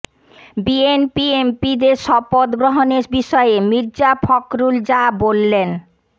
BNP এমপিদের শপথ গ্রহণের বিষয়ে মির্জা ফখরুল যা বললেন